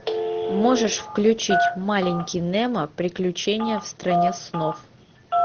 можешь включить маленький немо приключения в стране снов